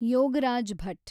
Yogaraj Bhat